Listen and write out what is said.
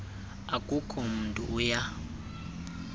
akukho mntu uya